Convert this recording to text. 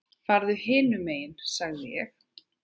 Farðu hinum megin sagði ég.